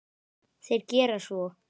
Þeir gera svo.